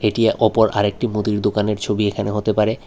এটি অপর আরেকটি মুদির দোকানের ছবি এখানে হতে পারে।